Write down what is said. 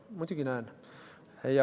Muidugi näen.